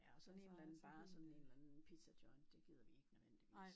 Ja og sådan en eller anden bare sådan en eller anden pizzajoint det gider vi ikke nødvendigvis